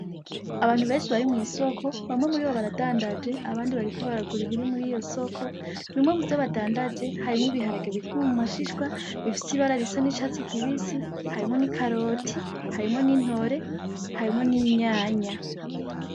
Abantu benshi bari mw'isoko, bamwe muri bo baradandaje abandi bariko baragura ibiri muri iryo soko. Bimwe muvyo badandaje harimwo ibiharage bikiri mu mashishwa, bifise ibara risa n'icatsi kibisi. Hrimwo ni ikaroti, harimwo n'intore, harimwo n'itomati.